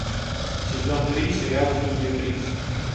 сезон три сериал студия тридцать